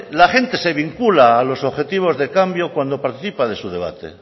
la gente se vincula a los objetivos de cambio cuando participa de su debate